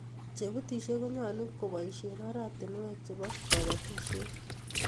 chebutishei konyalun kobaishen oratunuek chebo kabatishiet